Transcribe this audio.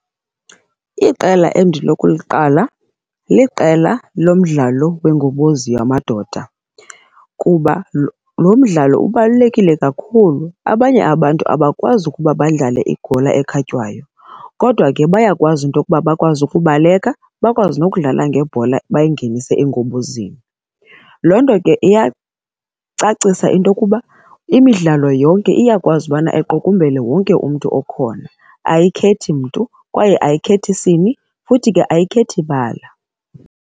Iqela endinokuliqala liqela lomdlalo wengobozi yamadoda kuba loo mdlalo ubalulekile kakhulu, abanye abantu abakwazi ukuba badlale ibhola ekhatywayo, kodwa ke bayakwazi into okuba bakwazi ukubaleka, bakwazi nokudlala ngebhola bayingenise engobozini. Loo nto ke iyacacisa into okuba imidlalo yonke iyakwazi bana iqukumbele wonke umntu okhona, ayikhethi mntu kwaye ayikhethi sini, futhi ke ayikhethi bala.